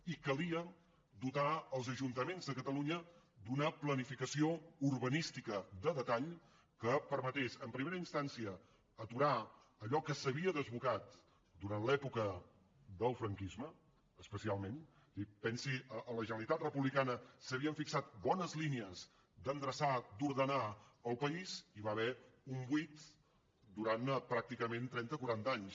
i calia dotar els ajuntaments de catalunya d’una planificació urbanística de detall que permetés en primera instància aturar allò que s’havia desbocat durant l’època del franquisme especialment pensi en la generalitat republicana s’havien fixat bones línies d’endreçar d’ordenar el país i hi va haver un buit durant pràcticament trenta o quaranta anys